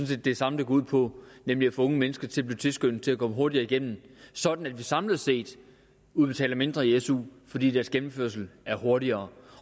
set det samme det går ud på nemlig at få unge mennesker til at blive tilskyndet til at komme hurtigere igennem sådan at vi samlet set udbetaler mindre i su fordi deres gennemførelse er hurtigere